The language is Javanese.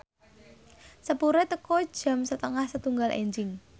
sepure teka jam setengah setunggal enjing